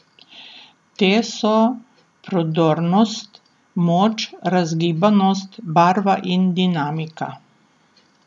Te so prodornost, moč, razgibanost, barva in dinamika.